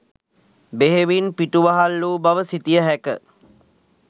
බෙහෙවින් පිටුවහල් වූ බව සිතිය හැක.